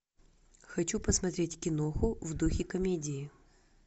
хочу посмотреть киноху в духе комедии